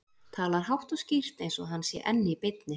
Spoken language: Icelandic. Talar hátt og skýrt eins og hann sé enn í beinni.